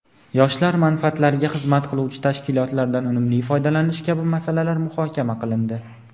yoshlar manfaatlariga xizmat qiluvchi tashkilotlardan unumli foydalanish kabi masalalar muhokama qilindi.